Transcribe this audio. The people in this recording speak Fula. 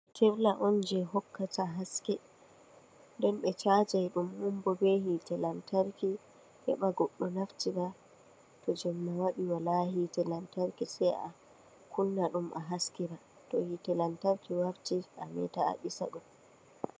Fitilla'on jei hokkata haske, nden ɓe caajai ɗum on bee hiite lantarki, heɓa goɗɗo naftira toh jemma waɗi wala hiite lantarki ah kunna ah haskira, to hiite lantarki warti ameeta ah ɗisa ɗum.